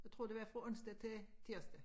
Jeg tror det var fra onsdag til tirsdag